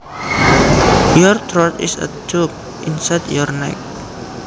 Your throat is a tube inside your neck